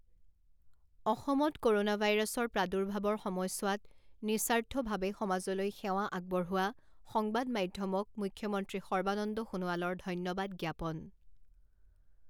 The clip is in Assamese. অসমত কৰোনা ভাইৰাছৰ প্ৰাদুৰ্ভাৱৰ সময়ছোৱাত নিঃস্বাৰ্থভাৱে সমাজলৈ সেৱা আগবঢ়োৱা সংবাদ মাধ্যমক মুখ্যমন্ত্ৰী সৰ্বানন্দ সোণোৱালৰ ধন্যবাদ জ্ঞাপন।